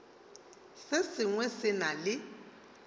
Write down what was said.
se sengwe se na le